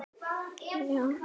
Hver veit sinn tíma?